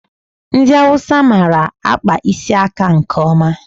Ndị Awụsa mara akpa isi aka nke ọma.